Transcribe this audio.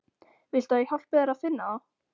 Viltu að ég hjálpi þér að finna þá?